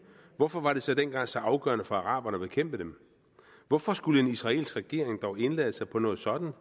hvorfor var det så dengang så afgørende for araberne at bekæmpe dem hvorfor skulle en israelsk regering dog indlade sig på noget sådant